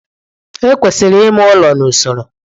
Ekwesịrị ime ụlọ n'usoro.